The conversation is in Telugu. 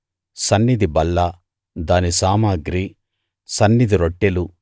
సన్నిధి బల్ల దాని సామగ్రి సన్నిధి రొట్టెలు